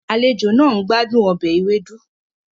Àlejò náà ń gbádùn ọbẹ̀ ewedu